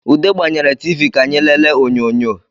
Ude gbanyere TV ka anyị lele onyọnyọ